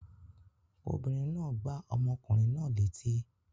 Obìnrin náà gbá ọmọkùnrin náà létí.